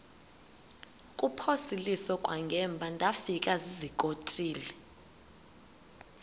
kuphosiliso kwangaemva ndafikezizikotile